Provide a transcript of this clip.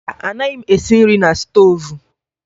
Mba, anaghị m esi nri na stoovu